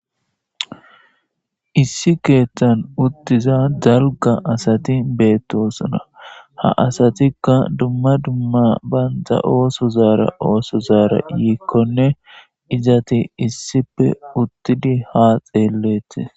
issi keeththan uttiza dalga asati beettosuna ha asatikka dumma dumma banda ooso zaara ooso zaara yiikkonne izati issippe uttidi ha xeelletis